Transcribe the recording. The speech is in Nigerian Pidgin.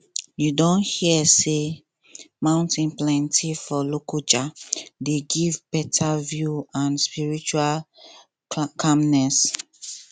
you don hear sey mount patti for lokoja dey give beta view and spiritual calmness